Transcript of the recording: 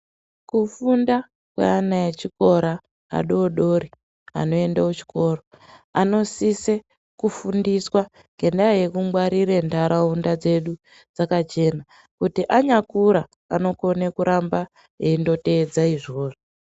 Kufunda kweana echikora adodori anoende kuchikoro anosise kufundiswa ngendaa yekungwarire nharaunda dzedu dzakachena. Kuti anyakura anokona kuramba eindotedza izvozvo.